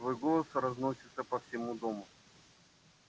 твой голос разносится по всему дому